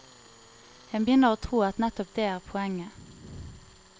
En begynner å tro at nettopp det er poenget.